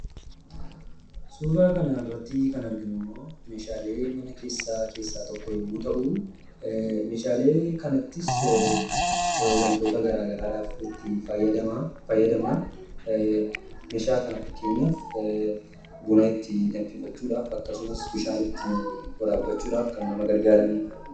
Suuraa kanarratti kan arginu immoo meeshaalee mana keessaa keessaa tokko yommuu ta'u, meeshaalee kanattis waantoota gara garaaf itti fayyadamna. Meeshaa kana fakkeenyaaf buna itti danfifachuudhaaf akkasumas bishaan itti waraabbachuudhaaf kan nama gargaaranidha.